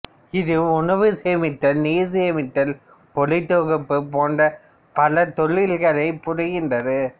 இது உணவு சேமித்தல் நீர் சேமித்தல் ஒளித்தொகுப்ப் போன்ற பல தொழில்கலைப் புரிகின்றது